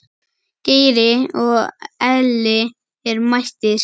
Geiri og Elli eru mættir.